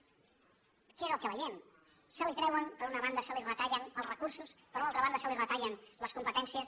què és el que veiem se li treuen per una banda se li retallen els recursos per una altra banda se li retallen les competències